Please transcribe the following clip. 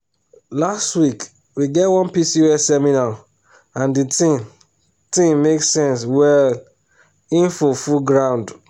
last week we get one pcos seminar and the thing thing make sense well info full ground